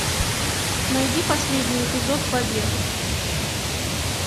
найди последний эпизод побег